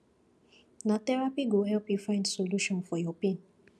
na therapy go help you find solution for your pain